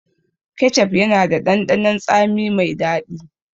Kecef yana da ɗanɗanon tsami mai daɗi.